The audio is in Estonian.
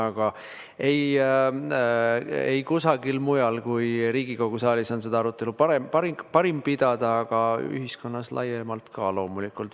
Aga ei kusagil mujal kui Riigikogu saalis on seda arutelu parim pidada, samuti ühiskonnas laiemalt loomulikult.